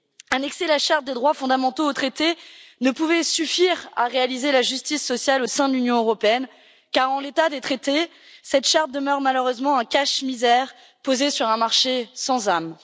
Annexer la charte des droits fondamentaux au traité ne pouvait suffire à réaliser la justice sociale au sein de l'Union européenne car, en l'état des traités, cette charte demeure malheureusement un cache misère posé sur un marché sans âme.